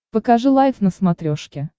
покажи лайф на смотрешке